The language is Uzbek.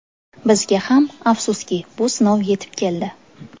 Bizga ham, afsuski, bu sinov yetib keldi.